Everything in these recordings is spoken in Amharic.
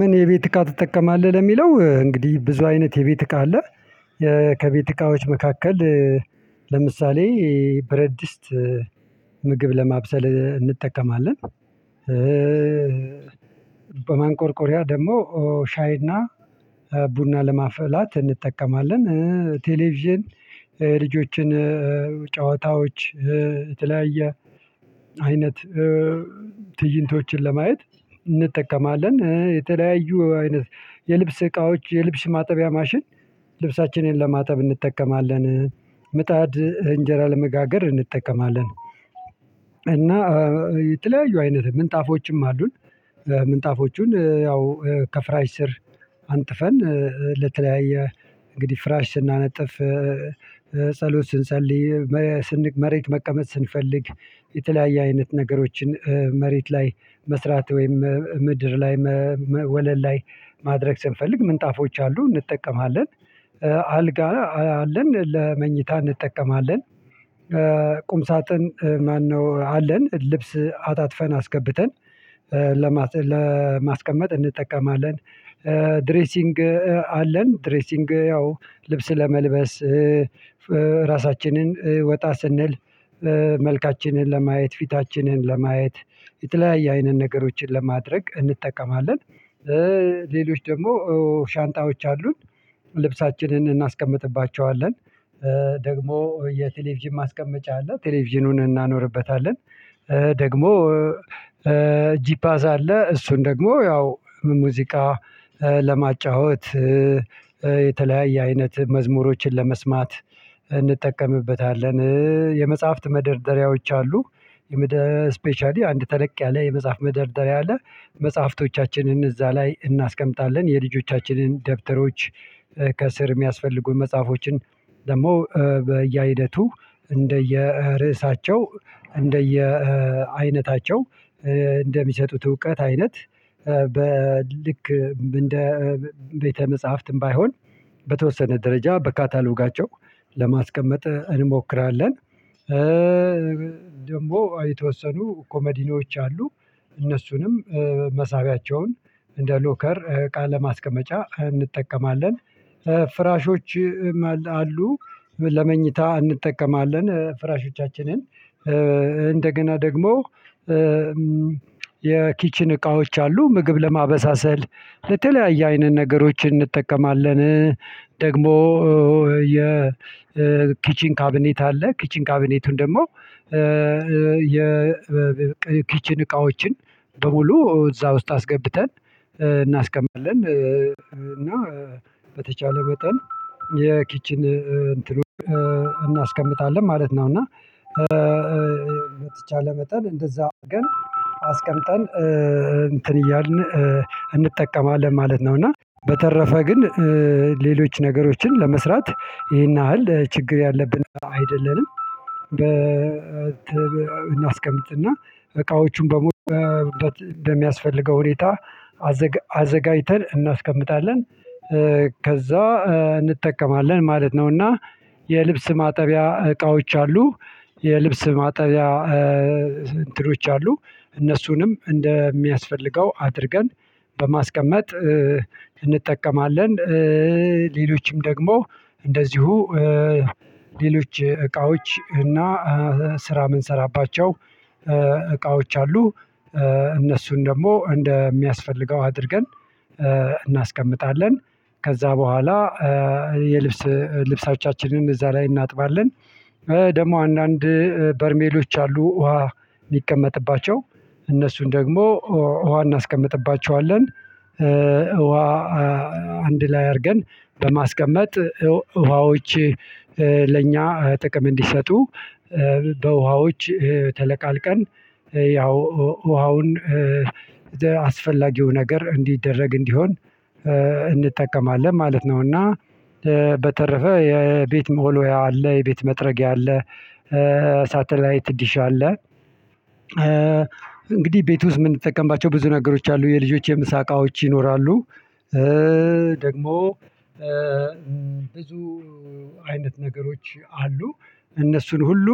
ምን የቤት እቃ ትጠቀማለህ? ለሚለው እንግዲህ ብዙ አይነት የቤት እቃ አለ ከቤት እቃዎች መካከል ለምሳሌ ብረትድስት ምግብ ለማብሰል እንጠቀማለን። በማንቆርቆሪያ ደግሞ ሻይና ቡና ለማፍላት እንጠቀማለን ቴሌቪዥን ልጆችን ጨዋታዎች የተለያየ አይነት ትይንቶችን ለማየት እንጠቀማለን የተለያዩ አይነት የልብስ እቃዎች የልብስ ማጠቢያ ማሽን ልብሳችንን ለማጠብ እንጠቀማለን ምጣድ እንጀራ ለመጋገር እንጠቀማለን። እና የተለያዩ አይነት ምንጣፎችም አሉን። ምንጣፎቹን ያው ከፍራሽ ስር አንጥፈን ለተለያየ እንግዲህ ፍራሽ ስናነጥፍ ጸሎት ስንሰልይ መሬት መቀመጥ ስንፈልግ የተለያየ አይነት ነገሮችን መሬት ላይ መስራት ወይም ምድር ላይ ወለል ላይ ማድረግ ስንፈልግ ምንጣፎች አሉ እንጠቀማለን። አልጋ አለን ለመኝታ እንጠቀማለን። ቁም ሳጥን ማነው አለን ልብስ አጣጥፈን አስገብተን ለማስቀመጥ እንጠቀማለን። ድሬሲንግ አለን ድሬሲንግ ያው ልብስ ለመልበስ ራሳችንን ወጣ ስንል መልካችንን ለማየት ፊታችንን ለማየት የተለያየ አይነት ነገሮችን ለማድረግ እንጠቀማለን። ሌሎች ደግሞ ሻንጣዎች አሉን ልብሳችንን እናስቀምጥባቸዋለን ደግሞ የቴሌቪዥን ማስቀመጫ አለ ቴሌቪዥኑን እናኖርበታለን። ደግሞ ጂፓዝ አለ እሱን ደግሞ ያው ሙዚቃ ለማጫወት የተለያየ አይነት መዝሙሮችን ለመስማት እንጠቀምበታለን። የመጽሐፍት መደርደሪያዎች አሉ የመደርደሪያ ስፔሻሊ አንድ ተለቅ ያለ የመጽሐፍ መደርደሪያ አለ መጽሐፍቶቻችንን እዛ ላይ እናስቀምጣለን የልጆቻችንን ደብተሮች ከስር የሚያስፈልጉን መጽሐፎችን ደግሞ በየአይነቱ እንደየ ርእሳቸው እንደየ አይነታቸው እንደሚሰጡት እውቀት አይነት በልክ እንደ ቤተ መጽሐፍትም ባይሆን በተወሰነ ደረጃ በካታሎጋቸው ለማስቀመጥ እንሞክራለን። ደግሞ የተወሰኑ ኮመዲኖች አሉ እነሱንም መሳቢያቸውን እንደ ሎከር እቃ ለማስቀመጫ እንጠቀማለን። ፍራሾች አሉ ለመኝታ እንጠቀማለን ፍራሾቻችንን እንደገና ደግሞ የኪችን እቃዎች አሉ ምግብ ለማበሳሰል ለተለያየ አይነት ነገሮችን እንጠቀማለን። ደግሞ የኪቺን ካቢኔት አለ ኪቺን ካቢኔቱን ደግሞ የኪችን እቃዎችን በሙሉ እዛ ውስጥ አስገብተን እናስቀምጣለን እና በተቻለ መጠን የኪችን እንትኑን እናስቀምጣለን ማለት ነው። እና በተቻለ መጠን እንደዛ አርገን አስቀምጠን እንትን እያልን እንጠቀማለን ማለት ነው። እና በተረፈ ግን ሌሎች ነገሮችን ለመስራት ይሄን ያህል ችግር ያለብን አይደለንም። እናስቀምጥና እቃዎቹን በሙሉ እንደሚያስፈልገው ሁኔታ አዘጋጅተን እናስቀምጣለን ከዛ እንጠቀማለን ማለት ነው። እና የልብስ ማጠቢያ እቃዎች አሉ የልብስ ማጠቢያ እንትኖች አሉ እነሱንም እንደሚያስፈልገው አድርገን በማስቀመጥ እንጠቀማለን። ሌሎችም ደግሞ እንደዚሁ ሌሎች እቃዎች እና ስራ የምንሰራባቸው እቃዎች አሉ እነሱን ደግሞ እንደሚያስፈልገው አድርገን እናስቀምጣለን። ከዛ በኋላ የልብስ ልብሳችንንም እዛ ላይ እናጥባለን ደግሞ አንዳንድ በርሜሎች አሉ ውሃ የሚቀመጥባቸው እነሱን ደግሞ ውሃ እናስቀምጥባቸዋለን። ውሃ አንድ ላይ አድርገን በማስቀመጥ ውሃዎች ለእኛ ጥቅም እንዲሰጡ በውሃዎች ተለቃልቀን ያው ውሃውን አስፈላጊው ነገር እንዲደረግ እንዲሆን እንጠቀማለን ማለት ነው። እና በተረፈ የቤት መወልወያ አለ የቤት መጥረጊያ አለ ሳተላይት ዲሽ አለ። እንግዲህ ቤት ውስጥ እምንጠቀምባቸው ብዙ ነገሮች አሉ የልጆች የምሳ እቃዎች ይኖራሉ። ደግሞ ብዙ አይነት ነገሮች አሉ እነሱን ሁሉ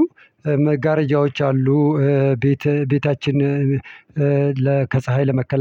መጋረጃዎች አሉ ቤት ቤታችን ለ ከፀሀይ ለመከላከል።